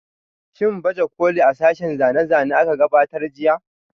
Shin baje kolin a sashen zane-zane da aka gudanar jiya?